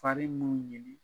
Fari n'u